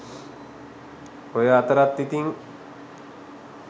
ඔය අතරත් ඉතින්